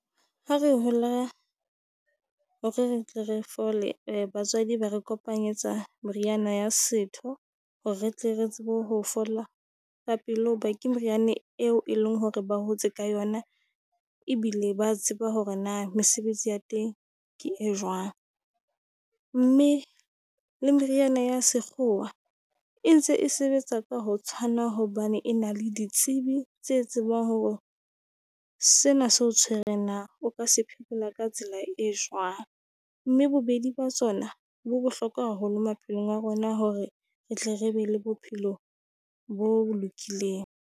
Ha re hola hore re tle re fole batswadi ba re kopanyetsa moriana ya setho, hore re tle re tsebe ho fola ka pele hoba ke moriane eo e leng hore ba hotse ka yona. Ebile ba tseba hore na mesebetsi ya teng ke e jwang, mme le meriana ya sekgowa e ntse e sebetsa ka ho tshwana, hobane e na le ditsebi tse tsebang hore sena se o tshwereng na o ka se phekola ka tsela e jwang? Mme bobedi ba tsona bo bohlokwa haholo maphelong a rona hore re tle re be le bophelo bo bo lokileng.